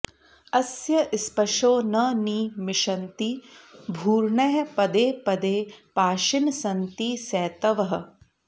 अस्य॒ स्पशो॒ न नि मि॑षन्ति॒ भूर्ण॑यः प॒देप॑दे पा॒शिनः॑ सन्ति॒ सेत॑वः